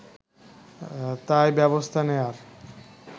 তাই ব্যবস্থা নেয়ার